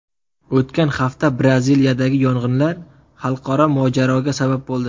O‘tgan hafta Braziliyadagi yong‘inlar xalqaro mojaroga sabab bo‘ldi.